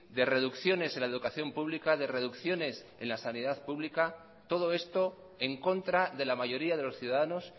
de reducciones en la educación pública de reducciones en la sanidad pública todo esto en contra de la mayoría de los ciudadanos